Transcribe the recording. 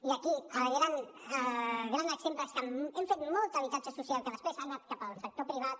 i aquí el gran exemple és que hem fet molt habitatge social que després ha anat cap al sector privat